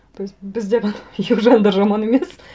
то есть бізде ғана южандар жаман емес